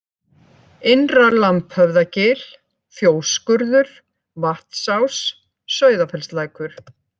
Innra-Lambhöfðagil, Fjósskurður, Vantsás, Sauðafellslækur